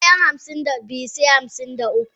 Bayan hamsin da biyu se hamsin da uku.